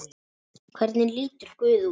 Hvernig lítur guð út?